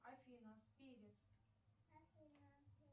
афина спирит